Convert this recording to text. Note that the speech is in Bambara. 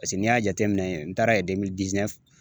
n'i y'a jateminɛ n taara